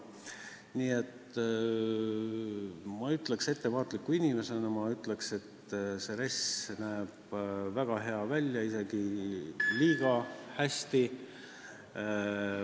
Nii et ma ütleksin ettevaatliku inimesena, et see RES näeb väga hea välja, isegi liiga hea.